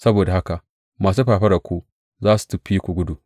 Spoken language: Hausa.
Saboda haka masu fafararku za su fi ku gudu!